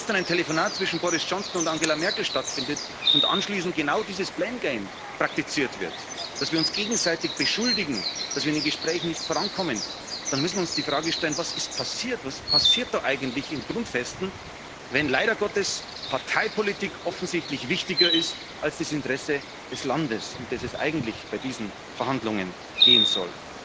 Wenn gestern ein Telefonat zwischen Boris Johnson und Angela Merkel stattfindet und anschließend genau dieses blame game praktiziert wird, dass wir uns gegenseitig beschuldigen, dass wir in den Gesprächen nicht vorankommen, dann müssen wir uns die Frage stellen, was passiert ist. Was passiert da eigentlich in den Grundfesten, wenn leider Gottes Parteipolitik offensichtlich wichtiger ist als das Interesse des Landes, um das es bei diesen Verhandlungen eigentlich gehen soll?